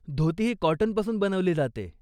धोती ही कॉटनपासून बनवली जाते.